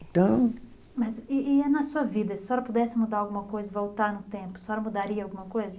Então. Mas e e eh, na sua vida, se a senhora pudesse mudar alguma coisa, voltar no tempo, a senhora mudaria alguma coisa?